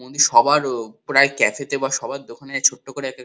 উনি সবারও ক্যাসেট এ বা সবার দোকানে ছোট্ট করে এক এক--